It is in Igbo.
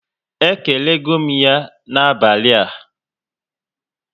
E kelego m ya na abalị a